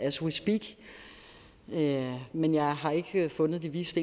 as we speak men jeg har endnu ikke fundet de vises